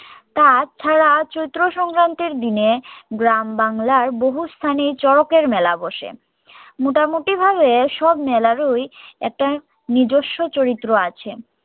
তাছাড়া চৈত্র সংক্রান্তির দিনে গ্রাম বাংলার বহু স্থানে চরকের মেলা বসে মোটামোটি ভাবে সব মেলারই একটা নিজস্য চরিত্র আছে